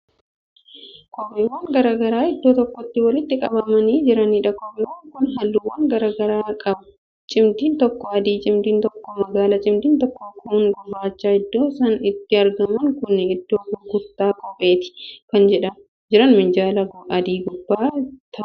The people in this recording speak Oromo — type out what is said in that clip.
Kopheewwan garagaraa iddoo tokkotti walitti qabamanii jiraniidha kopheewwan Kun halluuwwan garagaraa qabuu. cimdiin tokko adii, cimdiin tokko magaala, cimdiin tokko, kuun gurraachadha. iddoon isaan itti argaman Kuni iddoo gurgurtaa kopheeti. kan Jiran minjaala adii gubbaa taa'aniiti.